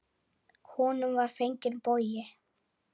Honum var fenginn bogi.